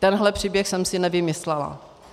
Tenhle příběh jsem si nevymyslela.